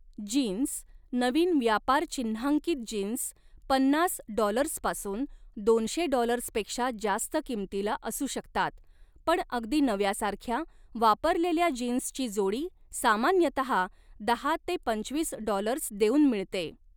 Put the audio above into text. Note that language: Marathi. जीन्स, नवीन व्यापारचिन्हांकित जीन्स पन्नास डॉलर्सपासून दोनशे डॉलर्सपेक्षा जास्त किमतीला असू शकतात, पण अगदी नव्यासारख्या, वापरलेल्या जीन्सची जोडी सामान्यतहा दहा ते पंचवीस डॉलर्स देऊन मिळते.